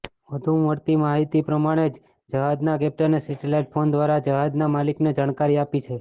વધુ મળતી માહિતી પ્રમાણે જહાજના કેપ્ટને સેટેલાઇટ ફોન દ્વારા જહાજના માલિકને જાણકારી આપી છે